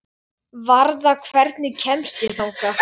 Það er átak að vaða snjóinn.